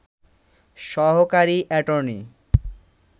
সহকারি অ্যাটর্নি